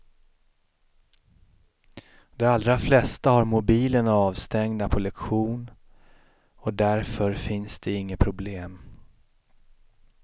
De allra flesta har mobilerna avstängda på lektion och därför finns det inget problem.